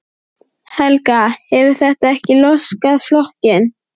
Helga: Hefur þetta ekki laskað flokkinn?